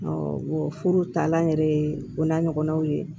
furu taalan yɛrɛ ye o n'a ɲɔgɔnnaw ye